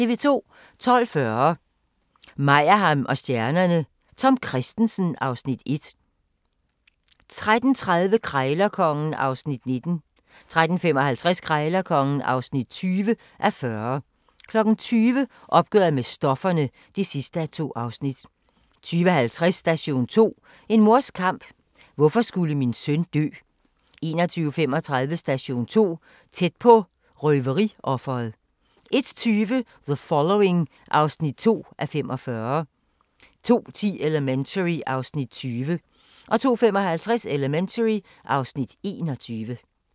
12:40: Meyerheim & stjernerne: Tom Kristensen (Afs. 1) 13:30: Krejlerkongen (19:40) 13:55: Krejlerkongen (20:40) 20:00: Opgøret med stofferne (2:2) 20:50: Station 2: En mors kamp - hvorfor skulle min søn dø? 21:35: Station 2 - Tæt på røveriofret 01:20: The Following (2:45) 02:10: Elementary (Afs. 20) 02:55: Elementary (Afs. 21)